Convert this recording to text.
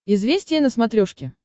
известия на смотрешке